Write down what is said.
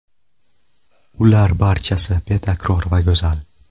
Ular barchasi betakror va go‘zal.